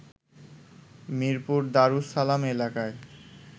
মিরপুর দারুস সালাম এলাকায়